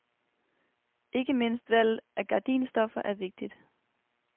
Ikke mindst valget af garadinstoffer er vigtigt.